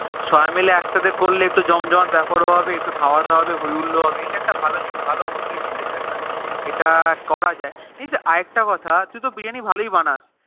সবাই মিলে একসাথে করলে একটা জম জমাট বেপার হবে একটু খাওয়া দাও হবে একটু হয় হুল্লো হবে ইটা একটা ভালো জিনিস হবে ভালো বুদ্ধি দিয়েছি এটা এটা করা যায় কিন্তু আর একটা কথা তুই তো Biriyani ভালোই বানাস